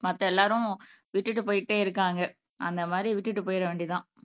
மத்த எல்லாரும் விட்டுட்டு போயிட்டே இருக்காங்க அந்த மாரி விட்டுட்டு போயிற வேண்டியதுதான்